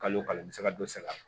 Kalo kalo n bɛ se ka dɔ sara